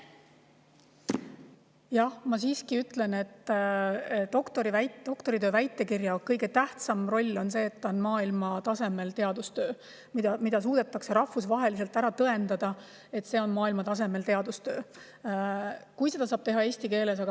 Jah, ma siiski ütlen, et doktoriväitekirja kõige tähtsam roll on see, et see on maailmatasemel teadustöö, suudetakse rahvusvaheliselt ära tõendada, et see on maailmatasemel teadustöö.